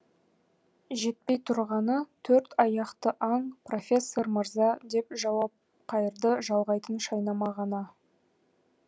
жетпей тұрғаны төрт аяқты аң профессор мырза деп жауап қайырды жалғайтын шайнама ғана